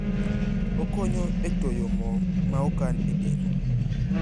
Okonyo etoyo mo maokan edel.